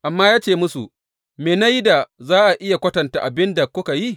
Amma ya ce musu, Me na yi da za a iya kwatanta da abin da kuka yi?